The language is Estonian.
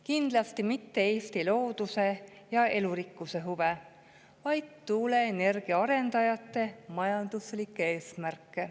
Kindlasti mitte Eesti looduse ja elurikkuse huve, vaid tuuleenergia arendajate majanduslikke eesmärke.